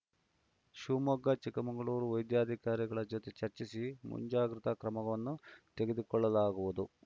ಶಿವಮೊಗ್ಗ ಚಿಕ್ಕಮಗಳೂರು ವೈದ್ಯಾಧಿಕಾರಿಗಳ ಜೊತೆ ಚರ್ಚಿಸಿ ಮುಂಜಾಗ್ರತ ಕ್ರಮವನ್ನು ತೆಗೆದುಕೊಳ್ಳಲಾಗುವುದು